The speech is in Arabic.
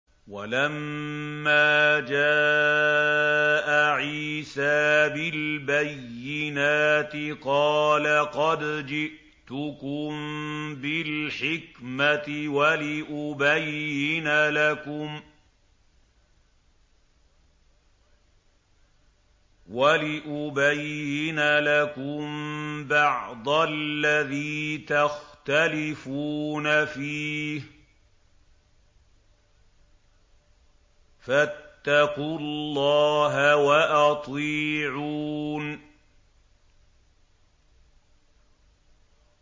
وَلَمَّا جَاءَ عِيسَىٰ بِالْبَيِّنَاتِ قَالَ قَدْ جِئْتُكُم بِالْحِكْمَةِ وَلِأُبَيِّنَ لَكُم بَعْضَ الَّذِي تَخْتَلِفُونَ فِيهِ ۖ فَاتَّقُوا اللَّهَ وَأَطِيعُونِ